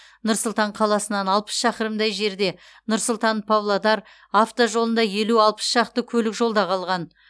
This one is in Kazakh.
нұр сұлтан қаласынан алпыс шақырымдай жерде нұр сұлтан павлодар автожолында елу алпыс шақты көлік жолда қалған